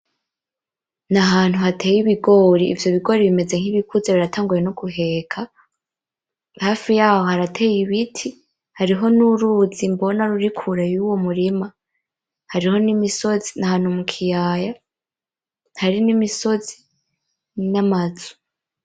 N'ahantu hateye Ibigori ,ivyo bigori bimeze nkibikuze biratanguye noguheka ,hafi yaho harateye Ibiti, hariho n'uruzi mbona ruri kure y'uwo murima, hariho n'imisozi, n'ahantu mukiyaya hari n'imisozi, n'amazu.